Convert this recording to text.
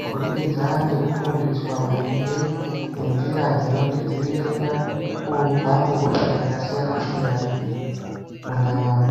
kubudikidza ngekufundiswa maringe nenzira dzinotidzivirira kubva kuhosha dzakasiyana-siyana, mundaramo.